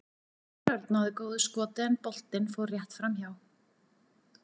Óskar Örn náði góðu skoti en boltinn fór rétt framhjá.